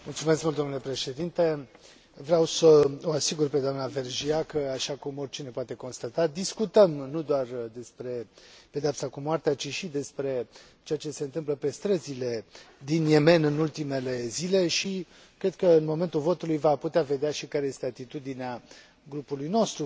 Vreau să o asigur pe doamna Vergiat că, așa cum oricine poate constata, discutăm nu doar despre pedeapsa cu moartea, ci și despre ceea ce se întâmplă pe străzile din Yemen în ultimele zile și cred că în momentul votului va putea vedea și care este atitudinea grupului nostru față de aceste chestiuni.